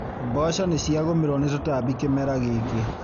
Mboco nĩ ciagũmĩrwo nĩ tũtambi kĩmera gĩkĩ.